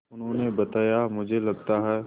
उन्होंने बताया मुझे लगता है